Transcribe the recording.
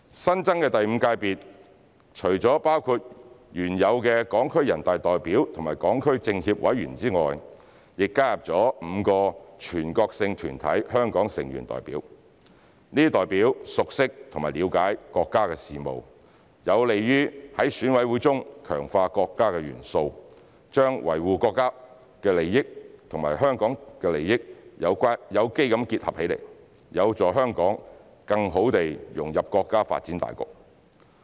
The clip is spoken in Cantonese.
新增的第五界別除了包括原有的港區全國人大代表和港區全國政協委員外，亦加入了5個全國性團體香港成員代表，這些代表熟悉和了解國家事務，有利於在選委會中強化國家元素，把維護國家利益和維護香港利益有機結合起來，有助香港更好地融入國家發展大局。